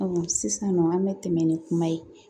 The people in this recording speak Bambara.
sisan nɔ an bɛ tɛmɛ ni kuma ye